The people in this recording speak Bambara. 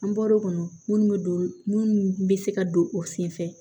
An bɔr'o kɔnɔ munnu bɛ don minnu bɛ se ka don o senfɛ